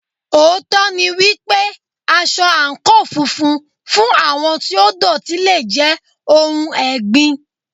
Òótọ́ ni wípé, aṣọ àǹkóò funfun fún àwọn tí ó dọ̀tí le jẹ́ ohun ẹ̀gbin.